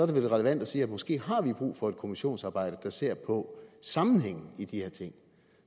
det vel relevant at sige at måske har vi brug for et kommissionsarbejde ser på sammenhængen i de her ting